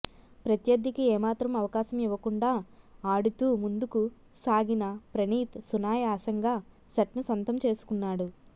ప్రత్యర్థికి ఏమాత్రం అవకాశం ఇవ్వకుండా ఆడుతూ ముందుకు సాగిన ప్రణీత్ సునాయాసంగా సెట్ను సొంతం చేసుకున్నాడు